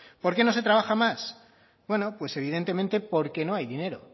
por qué no se trabaja más bueno pues evidentemente porque no hay dinero